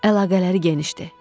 Əlaqələri genişdir.